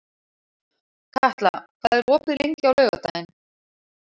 Katla, hvað er opið lengi á laugardaginn?